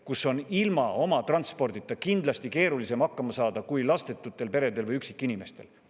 –, kus on ilma oma transpordita kindlasti keerulisem hakkama saada kui lastetutel peredel või üksikinimestel.